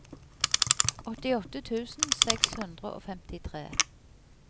åttiåtte tusen seks hundre og femtitre